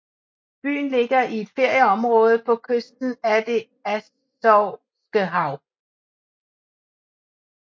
Byen ligger i et ferieområde på kysten af det Azovske Hav